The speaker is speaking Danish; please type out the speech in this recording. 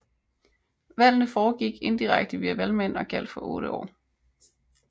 Valgene foregik indirekte via valgmænd og gjaldt for 8 år